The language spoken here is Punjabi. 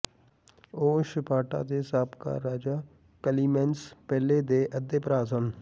ਉਹ ਸਪਾਰਟਾ ਦੇ ਸਾਬਕਾ ਰਾਜਾ ਕਲੀਮੈਨਜ਼ ਪਹਿਲੇ ਦੇ ਅੱਧੇ ਭਰਾ ਸਨ